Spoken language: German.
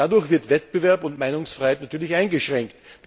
Dadurch werden Wettbewerb und Meinungsfreiheit natürlich eingeschränkt.